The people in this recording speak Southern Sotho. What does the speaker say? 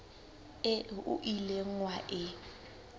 eo o ileng wa e